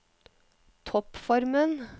toppformen